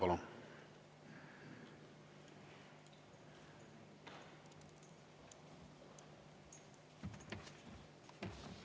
Palun!